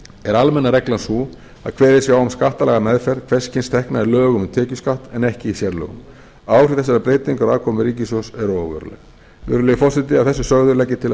er almenna reglan sú að kveðið sé á um skattalega meðferð hvers kyns tekna í lögum um tekjuskatt en ekki í sérlögum áhrif þessarar breytingar á afkomu ríkissjóðs eru óveruleg virðulegi forseti að þessu sögðu legg ég til að